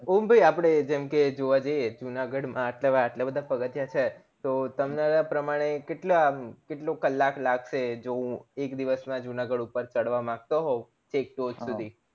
ઓમ ભય અપડે જેમ કે જોવા જઈએ જુનાગઢ માં એટલા બધા પગથીયા છે તો તમારા પ્રમાણે કેટલા કેટલું કલાક લાગશે જો હું એક દિવસ માં જુનાગઢ ઉપર ચડવા માંગતો હોઉં એક સુધી